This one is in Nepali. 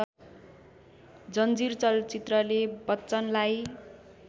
जंजीर चलचित्रले बच्चनलाई